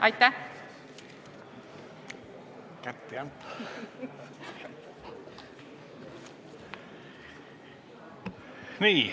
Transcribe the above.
Aitäh!